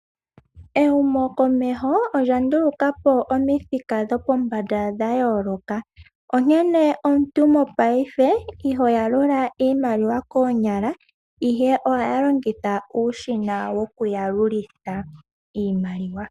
Ehumo komeho olya nduluka po omithika dhopombanda dha yooloka. Onkene omuntu mopaife iho yalula iimaliwa koonyala ihe ohaya longitha uushina wokuyalulitha iimaliwa.